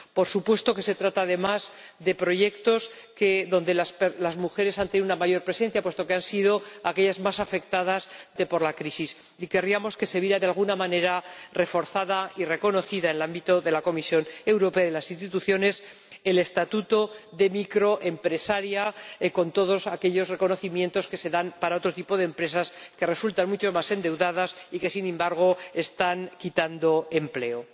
Por supuesto que se trata, además, de proyectos donde las mujeres aún tienen una mayor presencia puesto que han sido, sin duda, las más afectadas por la crisis, y querríamos que se viera de alguna manera reforzado y reconocido, en el ámbito de la Comisión Europea y de las instituciones, el estatuto de microempresaria, con todos aquellos reconocimientos que se dan para otro tipo de empresas que resultan mucho más endeudadas y que, sin embargo, están suprimiendo empleo.